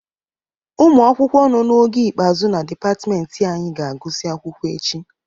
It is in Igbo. Ụmụ akwụkwọ nọ n'ogo ikpeazụ na dịpatịmentị anyị ga-agụsị akwụkwọ echi.